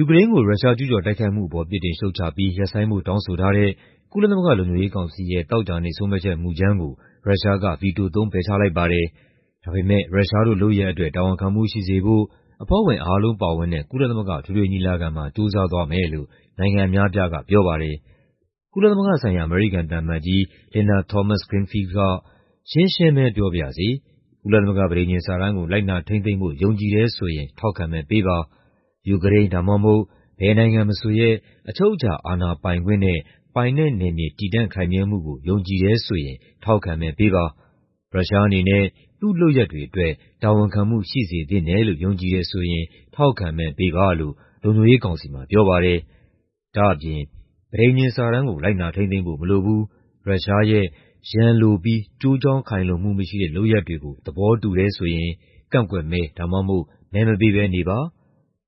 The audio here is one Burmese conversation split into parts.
ူကရိန်းကို ရုရှား ကျူးကျော်တိုက်ခိုက်မှုအပေါ် ပြစ်တင်ရှုတ်ချပြီး ရပ်ဆိုင်းဖို့ တောင်းဆိုထားတဲ့ ကုလသမဂ္ဂ လုံခြုံရေးကောင်စီရဲ့ သောကြာနေ့ ဆုံးဖြတ်ချက်မူကြမ်းကို ရုရှားက ဗီတိုသုံး ပယ်ချလိုက်ပါတယ်။ ဒါပေမယ့် ရုရှားတို့လုပ်ရပ်အတွက် တာဝန်ခံမှုရှိစေဖို့ အဖွဲ့ဝင်အားလုံးပါဝင်တဲ့ ကုလသမဂ္ဂ အထွေထွေညီလာခံမှာ ကြိုးစားသွားမယ်လို့ နိုင်ငံအများအပြားက ပြောပါတယ်။ ကုလသမဂ္ဂဆိုင်ရာ အမေရိကန်သံအမတ်ကြီး Linda Thomas-Greenfield က "ရှင်းရှင်းပဲပြောပါရစေ၊ ကုလသမဂ္ဂ ပဋိညာဉ်စာတမ်းကို လိုက်နာထိန်းသိမ်းဖို့ ယုံကြည်တယ်ဆိုရင် ထောက်ခံမဲပေးပါ။ ယူကရိန်း ဒါမှမဟုတ် ဘယ်နိုင်ငံမဆိုရဲ့ အချုပ်အခြာ အာဏာပိုင်ခွင့်နဲ့ ပိုင်နက်နယ်မြေ တည်တံ့ခိုင်မြဲမှုကို ယုံကြည်တယ်ဆိုရင် ထောက်ခံမဲပေးပါ။ ရုရှားအနေနဲ့ သူ့လုပ်ရပ်တွေအတွက် တာဝန်ခံမှု ရှိစေသင့်တယ်လို့ ယုံကြည်တယ်ဆိုရင် ထောက်ခံမဲပေးပါ" လို့ လုံခြုံရေးကောင်စီမှာ ပြောပါတယ်။ ဒါ့အပြင် "ပဋိညာဉ်စာတမ်းကို လိုက်နာထိန်းသိမ်းဖို့ မရှိဘူး၊ ရုရှားရဲ့ ရန်လိုပြီး ကျိုးကြောင်းခိုင်လုံမှု မရှိတဲ့ လုပ်ရပ်တွေကို သဘောတူတယ်ဆိုရင် ကန့်ကွက်မဲ ဒါမှမဟုတ် မဲမပေးဘဲနေပါ။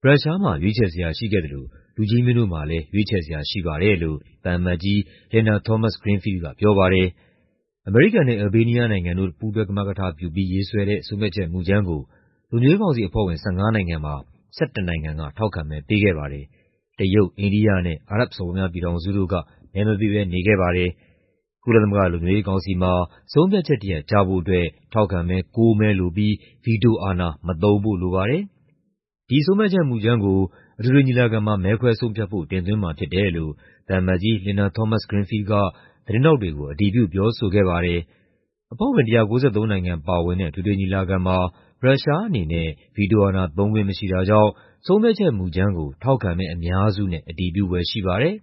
ရုရှားမှာ ရွေးချယ်စရာ ရှိခဲ့သလို လူကြီးမင်းတို့မှာလည်း ရွေးချယ်စရာ ရှိပါတယ်" လို့ သံအမတ်ကြီး Linda Thomas-Greenfield က ပြောပါတယ်။ အမေရိကန်နဲ့ အယ်လ်ဘေးနီးယားနိုင်ငံတို့ ပူးတွဲကမကထပြုပြီး ရေးဆွဲတဲ့ ဆုံးဖြတ်ချက်မူကြမ်းကို လုံခြုံရေးကောင်စီအဖွဲ့ဝင် ၁၅ နိုင်ငံမှာ ၁၁ နိုင်ငံက ထောက်ခံမဲ ပေးခဲ့ပါတယ်။ တရုတ်၊ အိန္ဒိယနဲ့ အာရပ်စော်ဘွားများပြည်ထောင်စုတို့က မဲမပေးဘဲ နေခဲ့ပါတယ်။ ကုလသမဂ္ဂ လုံခြုံရေးကောင်စီမှာ ဆုံးဖြတ်ချက်တရပ် ကျဖို့အတွက် ထောက်ခံမဲ ၉ မဲလိုပြီး ဗီတိုအာဏာ မသုံးဖို့လိုပါတယ်။ ဒီဆုံးဖြတ်ချက်မူကြမ်းကို အထွေထွေညီလာခံမှာ မဲခွဲဆုံးဖြတ်ဖို့ တင်သွင်းမှာဖြစ်တယ်လို့ သံအမတ်ကြီး Linda Thomas-Greenfield က သတင်းထောက်တွေကို အတည်ပြု ပြောဆိုခဲ့ပါတယ်။ အဖွဲ့ဝင် ၁၉၃ နိုင်ငံပါဝင်တဲ့ အထွေထွေညီလာခံမှာ ရုရှားအနေနဲ့ ဗီတိုအာဏာသုံးခွင့် မရှိတာကြောင့် ဆုံးဖြတ်ချက်မူကြမ်းကို ထောက်ခံမဲအများစုနဲ့ အတည်ပြုဖွယ်ရှိပါတယ်။